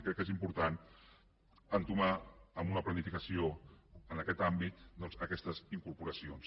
i crec que és important entomar amb una planificació en aquest àmbit doncs aquestes incorporacions